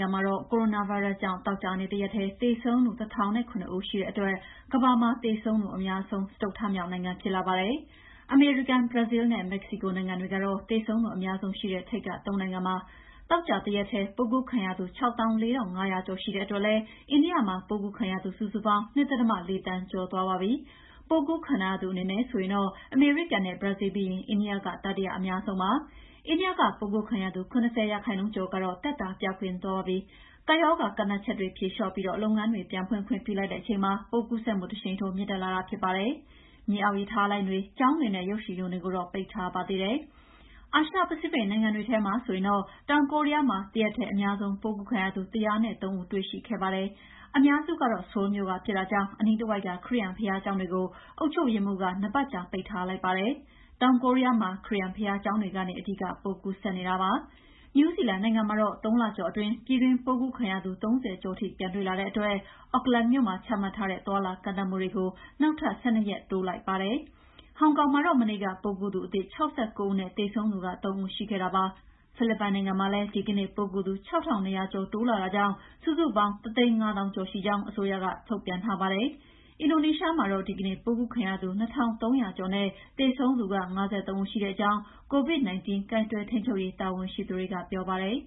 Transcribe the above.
ငံမှာတော့ ကိုရိုနာဗိုင်းရပ်စ်ကြောင့် သောကြာနေ့တရက်ထဲ သေဆုံးသူ ၁၀,၀၇ ရှိတဲ့အတွက် ကမ္ဘာမှာ သေဆုံးသူအများဆုံး စတုတ္ထမြောက်နိုင်ငံဖြစ်လာပါတယ်။ အမေရိကန်၊ ဘရာဇီးလ်းနဲ့ မက္ကဆီကိုနိုင်ငံတွေကတော့ သေဆုံးသူအများဆုံးရှိတဲ့ ထိပ်က ၃ နိုင်ငံပါ။ သောကြာတရက်ထဲ ပိုးကူးခံရသူ ၆၄,၅၀၀ ကျော်ရှိတဲ့အတွက်လည်း အိန္ဒိယမှာ ပိုးကူးခံရသူ စုစုပေါင်း ၂.၄ သန်းကျော်သွားပါပြီ။ ပိုးကူးခံထားရသူအနေနဲ့ဆိုရင်တော့ အမေရိကန်နဲ့ ဘရာဇီးလ်ပြီးရင် အိန္ဒိယက တတိယအများဆုံးပါ။ အိန္ဒိယက ပိုးကူးခံရသူ ၇၀ ရာခိုင်နှုန်း ကျော်ကတော့ သက်သာသွားကြပါပြီ။ ကပ်ရောဂါကန့်သတ်ချက်တွေ ဖြေလေ ျှာ့ပြီး လုပ်ငန်းတွေ ပြန်ဖွင့်ခွင့်ပြုလိုက်တဲ့အချိန်မှာ ပိုးကူးစက်မှုတရှိန်ထိုး မြင့်တက်လာတာဖြစ်ပါတယ်။ မြေအောက်ရထားလိုင်းတွေ၊ ကျောင်းတွေနဲ့ ရုပ်ရှင်ရုံတွေကိုတော့ ပိတ်ထားပါသေးတယ်။ အာရှပစိဖိတ်နိုင်ငံတွေထဲမှာဆိုရင်တော့ တောင်ကိုရီးယားမှာ တရက်ထဲအများဆုံး ပိုးကူးခံရသူ ၁၀၃ ဦးတွေ့ရှိခဲ့ပါတယ်။ အများစုကတော့ ဆိုးလ်မြို့က ဖြစ်တာကြောင့် အနီးတဝိုက်က ခရစ်ယာန်ဘုရားကျောင်းတွေကို အုပ်ချုပ်ရေးမှူးက၂ ပတ်ကြာ ပိတ်ထားလိုက်ပါတယ်။ တောင်ကိုရီးယားမှာ ခရစ်ယာန်ဘုရားကျောင်းတွေကနေ အဓိကပိုးကူးစက်နေတာပါ။ နယူးဇီလန်နိုင်ငံမှာတော့ ၃ လကျော်အတွင်း ပြည်တွင်းပိုးကူးခံရသူ ၃၀ ကျော်ထိပြန်တွေ့လာတဲ့အတွက် Auckland မြို့မှာ ချမှတ်ထားတဲ့ သွားလာကန့်သတ်မှု နောက်ထပ် ၁၂ ရက်တိုးလိုက်ပါတယ်။ ဟောင်ကောင်မှာတော့ မနေ့က ပိုးကူးသူအသစ် ၆၉ ဦးနဲ့ သေဆုံးသူ ၃ ဦးရှိခဲ့တာပါ။ ဖိလစ်ပိုင်မှာလည်း ဒီကနေ့ ပိုးကူးသူ ၆,၂၁၆ ဦးတိုးလာကြောင့် စုစုပေါင်း ၁၅၀,၀၀၀ ကျော်ရှိကြောင်း အစိုးရထုတ်ပြန်ချက်မှာဖော်ပြပါတယ်။ အင်ဒိုနီးရှားမှာတော့ ဒီကနေ့ပိုးကူးခံရသူ ၂,၃၀၇ ဦးနဲ့သေဆုံးသူ ၅၃ ဦးရှိကြောင်း COVID-19 ကိုင်တွယ်ထိန်းချုပ်ရေး တာဝန်ရှိသူတွေကပြောပါတယ်